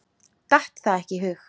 Datt það ekki í hug.